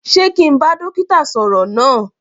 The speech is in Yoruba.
Sé kí n bá dókítà sọ̀rọ̀ náà.